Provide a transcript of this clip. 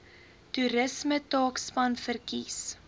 toerisme taakspan verkies